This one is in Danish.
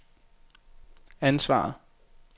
ansvaret